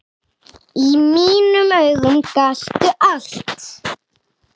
Í mínum augum gastu allt.